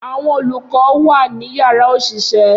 Awọn olukọ wa ni yárà oṣiṣẹ.